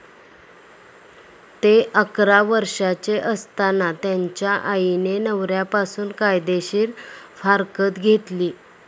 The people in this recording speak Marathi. ते अकरा वर्षांचे असताना त्यांच्या आईने नवऱ्यापासून कायदेशीर फारकत घेतली.